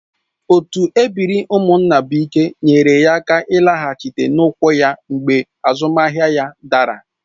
Otu ebiri Umunnabuike nyeere ya aka ịlaghachi n'ụkwụ ya mgbe azụmahịa ya dara